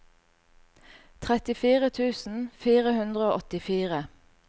trettifire tusen fire hundre og åttifire